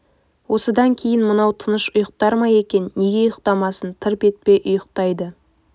осыдан кейін мынау тыныш ұйықтар ма екен неге ұйықтамасын тырп етпей ұйықтайды